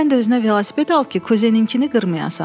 Sən də özünə velosiped al ki, kuzenininkini qırmayasan.